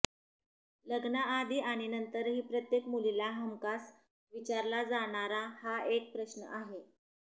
लग्नाआधी आणि नंतरही प्रत्येक मुलीला हमखास विचारला जाणारा हा एक प्रश्न आहे